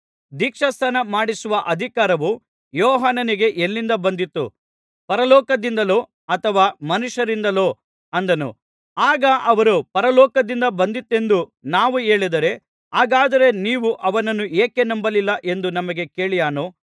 ದೀಕ್ಷಾಸ್ನಾನ ಮಾಡಿಸುವ ಅಧಿಕಾರವು ಯೋಹಾನನಿಗೆ ಎಲ್ಲಿಂದ ಬಂದಿತು ಪರಲೋಕದಿಂದಲೋ ಅಥವಾ ಮನುಷ್ಯರಿಂದಲೋ ಅಂದನು ಆಗ ಅವರು ಪರಲೋಕದಿಂದ ಬಂದಿತೆಂದು ನಾವು ಹೇಳಿದರೆ ಹಾಗಾದರೆ ನೀವು ಅವನನ್ನು ಏಕೆ ನಂಬಲಿಲ್ಲ ಎಂದು ನಮಗೆ ಕೇಳಿಯಾನು